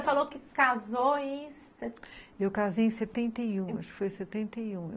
E você falou que casou em... Eu casei em setenta e um, acho que foi em setenta e um.